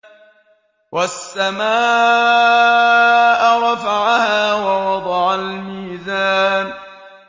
وَالسَّمَاءَ رَفَعَهَا وَوَضَعَ الْمِيزَانَ